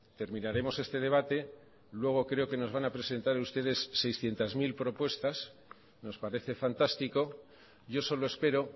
terminaremos este debate luego creo que nos van a presentar ustedes seiscientos mil propuestas nos parece fantástico yo solo espero